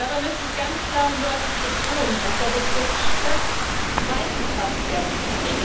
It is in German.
Dabei möchte ich ganz klar und deutlich betonen, dass der Begriff Stadt weit gefasst werden muss.